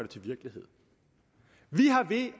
til virkelighed vi har ved